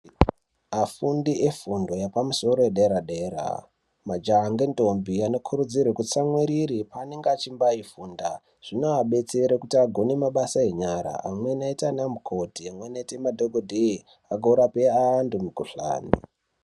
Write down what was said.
Afundi efundo yepamusoro , yedera dera majaha nentombi anokurudzirwe kutsamwiriri paanemge echimbaifunda zvinoabetsere kuti agone mabasa enyara amweni aite ana mukoti amweni madhokodheya angorapa anhu mukohlani.